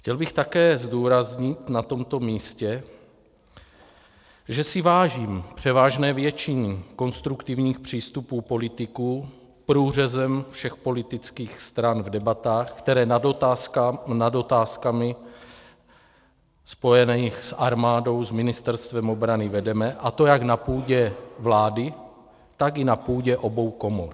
Chtěl bych také zdůraznit na tomto místě, že si vážím převážné většiny konstruktivních přístupů politiků průřezem všech politických stran v debatách, které nad otázkami spojenými s armádou s Ministerstvem obrany vedeme, a to jak na půdě vlády, tak i na půdě obou komor.